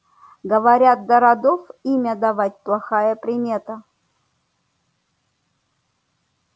говорят до родов имя давать плохая примета